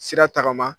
Sira tagama